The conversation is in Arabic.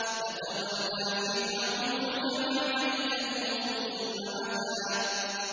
فَتَوَلَّىٰ فِرْعَوْنُ فَجَمَعَ كَيْدَهُ ثُمَّ أَتَىٰ